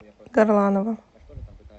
горланова